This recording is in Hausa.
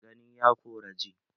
Gani ya kora ji